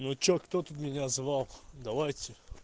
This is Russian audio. ну что кто тут меня звал давайте